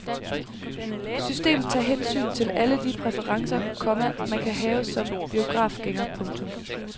Systemet tager hensyn til alle de præferencer, komma man kan have som biografgænger. punktum